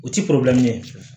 O ti ye